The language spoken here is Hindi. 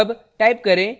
अब टाइप करें